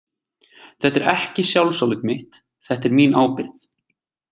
Þetta er ekki sjálfsálit mitt, þetta er mín ábyrgð.